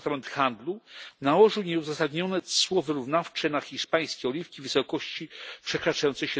Departament Handlu nałożył nieuzasadnione cło wyrównawcze na hiszpańskie oliwki w wysokości przekraczającej